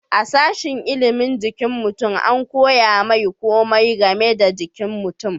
a sashin ilimin jikin mutum an koya mai komai game da jikin mutum